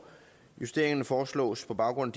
justeringerne foreslås på baggrund